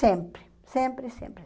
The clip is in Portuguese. Sempre, sempre, sempre.